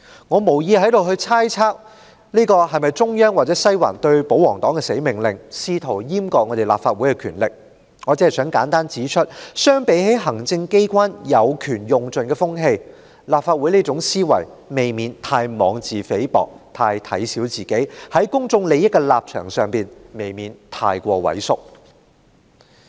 我無意在這裏猜測這是否中央或西環對保皇黨的"死命令"，試圖閹割立法會的權力，我只想簡單指出，相比行政機關有權盡用的風氣，立法會這種思維未免太妄自菲薄，太小看自己，在公眾利益的立場上太過畏縮。